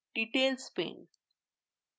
details pane